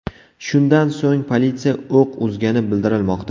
Shundan so‘ng politsiya o‘q uzgani bildirilmoqda.